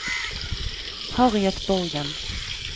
Harriet Borgen